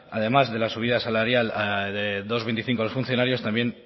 además de la subida salarial dos punto veinticinco de funcionarios también